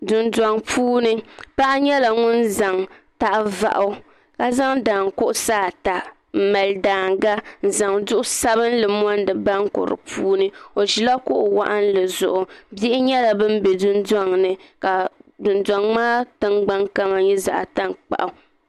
Dondɔŋ puuni paɣa nyela ŋun zaŋ tahavɔɣu ka zaŋ daankuɣasaata m mali daaŋa n zaŋ duɣu sabinli n mundi bonku di puuni o ʒila kuɣu waɣinli zuɣu bihi nyela ban ʒi dondɔŋ ni ka dondɔŋ maa kama nye zaɣtankpaɣu.